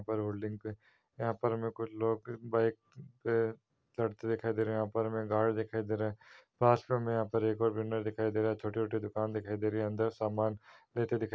पर होल्डिंग पे यहाँ पर मेरे को लोग बाइक पे लड़ते दिखाई दे रहे हैं। यहाँ पर हमें गार्ड दिखाई दे रहा हैं पास में हमें यहाँ पे एक और वेंडर दिखाई दे रहा है छोटे-छोटे दुकान दिखाई दे रहे है अंदर सामन लेते दिखा --